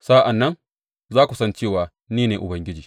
Sa’an nan za ku san cewa ni ne Ubangiji.’